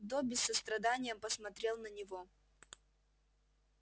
добби с состраданием посмотрел на него